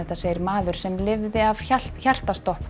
segir maður sem lifði af hjartastopp